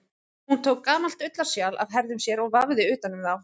Hún tók gamalt ullarsjal af herðum sér og vafði utan um þá.